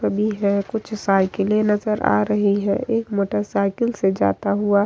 है कुछ साइकिलें नजर आ रही हैं एक मोटर साइकिल से जाता हुआ --